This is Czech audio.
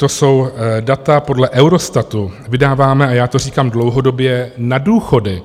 To jsou data podle Eurostatu, vydáváme, a já to říkám dlouhodobě, na důchody